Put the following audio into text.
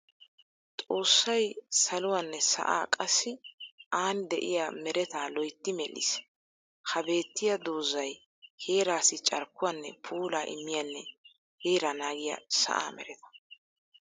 Xossay saluwaanne sa'aa qassi aani de'iyaa meretaa loytti medhdhis. Ha beettiya doozzay heeraassi carkkuwanne puulaa immiyanne heeraa naagiya sa'aa meretaa.